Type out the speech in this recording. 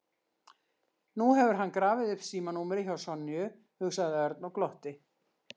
Nú hefur hann grafið upp símanúmerið hjá Sonju, hugsaði Örn og glotti.